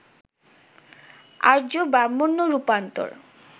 আর্য-ব্রাহ্মণ্য রূপান্তর